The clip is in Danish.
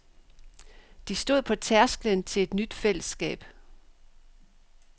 De stod på tærsklen til et nyt fællesskab.